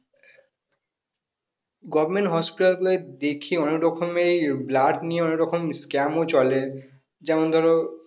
Govment hospital গুলোয় দেখি অনেক রকমের blood নিয়ে অনেক রকম scam ও চলে যেমন ধরো